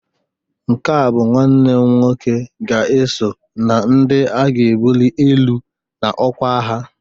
nke a bụ nwanne m nwoke ga-eso na ndị a ga-ebuli elu n'ọkwa agha